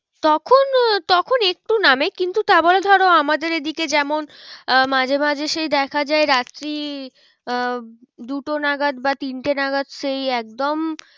তখন, তখন একটু নামে কিন্তু তা বলে ধরো আমাদের এদিকে যেমন আহ মাঝে মাঝে সেই দেখা যায় রাত্রি আহ দুটো নাগাদ বা তিনটে নাগাদ সেই একদম